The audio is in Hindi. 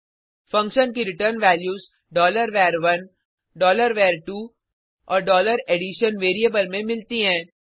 फंक्शन की रिटर्न वैल्यूज var1 var2 और addition वेरिएबल में मिलती हैं